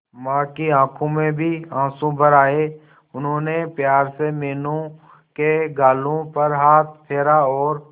मां की आंखों में भी आंसू भर आए उन्होंने प्यार से मीनू के गालों पर हाथ फेरा और